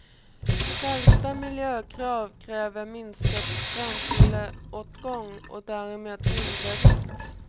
Skärpta miljökrav kräver minskad bränsleåtgång och därmed mindre vikt.